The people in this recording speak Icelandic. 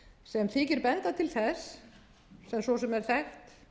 sem þykir benda til þess sem svo sem er þekkt